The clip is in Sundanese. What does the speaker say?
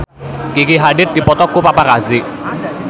Gigi Hadid dipoto ku paparazi